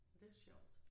Og det sjovt